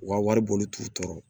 U ka wari boli t'u tɔɔrɔ